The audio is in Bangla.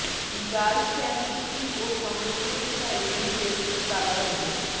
জাল স্ট্যাম্প বিক্রি ও সংরক্ষণের দায়ে দুই ব্যক্তির কারাদণ্ড